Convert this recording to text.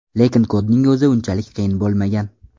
Lekin kodning o‘zi unchalik qiyin bo‘lmagan.